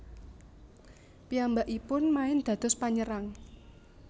Piyambakipun main dados panyerang